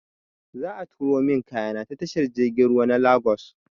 Za a turo min kayana ta tashar jirgin ruwa na Lagos.